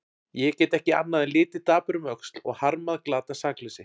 Ég get ekki annað en litið dapur um öxl og harmað glatað sakleysi.